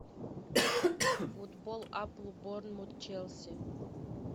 футбол апл борнмут челси